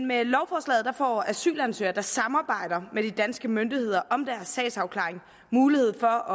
med lovforslaget får asylansøgere der samarbejder med de danske myndigheder om deres sags afklaring mulighed for